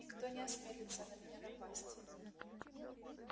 никто не осмелится на меня напасть